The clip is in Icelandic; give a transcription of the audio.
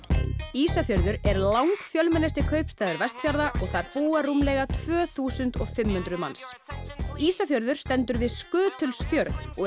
Ísafjörður er lang fjölmennasti kaupstaður Vestfjarða og þar búa rúmlega tvö þúsund og fimm hundruð manns Ísafjörður stendur við Skutulsfjörð og